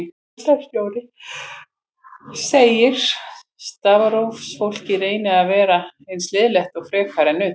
Deildarstjóri segir að starfsfólkið reyni að vera eins liðlegt og frekast er unnt.